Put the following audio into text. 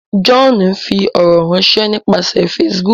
John ń fí ọrọ ránṣẹ nípasẹ Facebook.